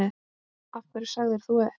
Af hverju sagðir þú upp?